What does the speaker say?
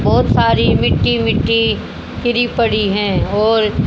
बहोत सारी मिट्टी मिट्टी गिरी पड़ी है और--